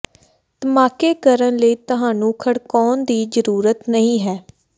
ਧਮਾਕੇ ਕਰਨ ਲਈ ਤੁਹਾਨੂੰ ਖੜਕਾਉਣ ਦੀ ਜ਼ਰੂਰਤ ਨਹੀਂ ਹੈ